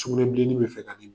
Sugunɛn bilenni bɛ fɛ ka den minɛn